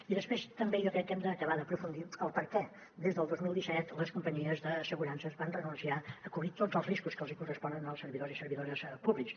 i després també jo crec que hem d’acabar d’aprofundir el perquè des del dos mil disset les companyies d’assegurances van renunciar a cobrir tots els riscos que els hi corresponen als servidors i servidores públics